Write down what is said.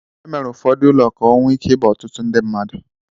E mere ụfọdụ ụlọ ka ọ nwe ike ịba otụtụ ndị mmadụ.